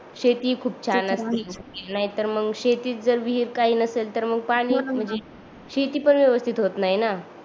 शेती खूप छान असते नाही तर मग शेतीत जर विहीर काही नसेल तर मग पाणी म्हणजे शेती पण व्यवस्तीत होत नाही न